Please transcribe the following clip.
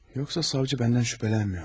Yoxsa savcı məndən şübhələnmirmi?